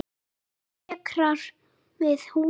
Þessi dekrar við húðina.